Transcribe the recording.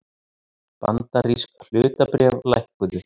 Bandarísk hlutabréf lækkuðu